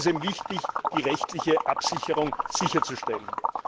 Da ist es eben wichtig, die rechtliche Absicherung sicherzustellen.